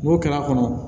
N'o kɛra kɔnɔ